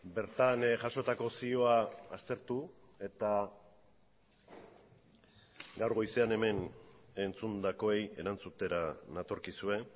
bertan jasotako zioa aztertu eta gaur goizean hemen entzundakoei erantzutera natorkizue